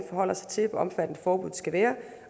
forholder sig til hvor omfattende forbuddet skal være